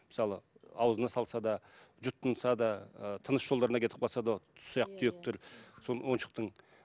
мысалы аузына салса да жұтынса да ыыы тыныс жолдарына кетіп қалса да ұсақ түйектер сол ойыншықтың